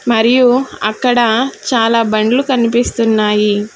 మరియు అక్కడ చాలా బండ్లు కన్పిస్తున్నాయి.